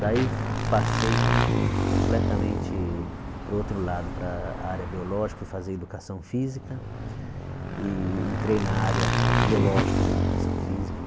Daí, passei completamente para o outro lado, para a área biológica, fui fazer educação física e entrei na área biológica da educação física.